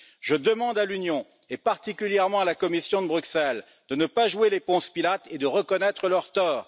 Je demande à l'Union, et particulièrement à la Commission de Bruxelles, de ne pas jouer les Ponce Pilate et de reconnaître leurs torts.